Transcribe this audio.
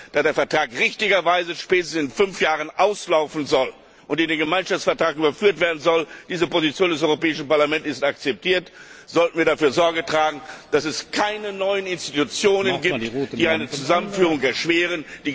Da der Vertrag richtigerweise spätestens in fünf Jahren auslaufen und in den Gemeinschaftsvertrag überführt werden soll diese Position des Europäischen Parlaments ist akzeptiert sollten wir dafür Sorge tragen, dass es keine neuen Institutionen gibt, die eine Zusammenführung erschweren.